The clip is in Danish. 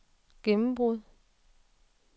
gennembrud